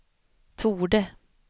torde